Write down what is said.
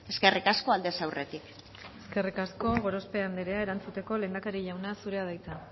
eskerrik asko aldez aurretik eskerrik asko gorospe andrea erantzuteko lehendakari jauna zurea da hitza